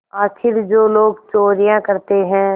आखिर जो लोग चोरियॉँ करते हैं